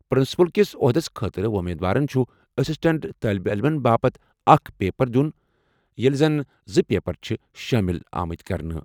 Principal کِس عہدس خٲطرٕ وۄمیدوارَن چھُ اسسٹنٹ طالبہِ علمَن باپتھ اکھ پیپر دِیُن ییٚلہِ زَن زٕ پیپر چھِ شٲمِل آمٕتۍ کرنہٕ۔